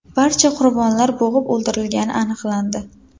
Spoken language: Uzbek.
Barcha qurbonlar bo‘g‘ib o‘ldirilgani aniqlandi.